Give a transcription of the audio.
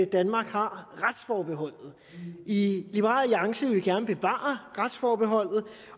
danmark har retsforbeholdet i liberal alliance vil vi gerne bevare retsforbeholdet